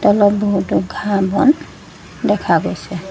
তলত বহুতো ঘাঁহ বন দেখা গৈছে।